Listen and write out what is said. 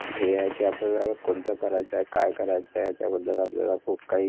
हे आहे कि आपल्यला कोणतं करायचा ए काई करायचा ए याच्याबद्दल आपल्याला खूप काई